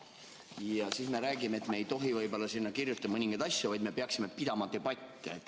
Ja siis räägime, et me ei tohiks sinna mõningaid asju kirjutada, vaid peaksime pidama debatte.